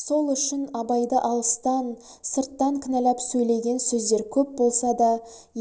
сол үшін абайды алыстан сырттан кінәләп сөйлеген сөздер көп болса да